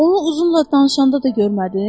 Onu uzunla danışanda da görmədin?